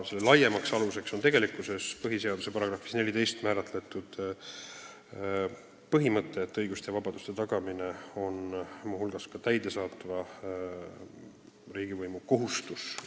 Selle laiem alus on põhiseaduse §-s 14 kirjas olev põhimõte, et õiguste ja vabaduste tagamine on muu hulgas ka täidesaatva riigivõimu kohustus.